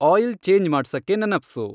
oil change ಮಾಡ್ಸಕ್ಕೆ ನೆನಪ್ಸು